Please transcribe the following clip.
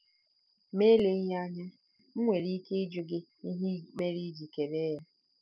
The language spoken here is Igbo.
Ma eleghị anya, m nwere ike ịjụ gị ihe mere i ji kelee ya?